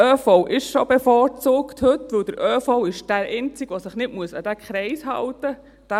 Der ÖV ist bereits heute bevorzugt, denn der ÖV ist der einzige, der sich nicht an diesen Kreis halten muss.